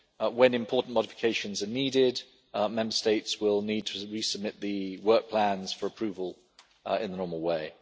When important modifications are needed, Member States will need to resubmit the work plans for approval in the normal way.